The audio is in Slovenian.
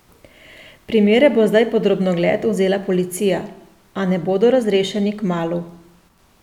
Primere bo zdaj pod drobnogled vzela policija, a ne bodo razrešeni kmalu.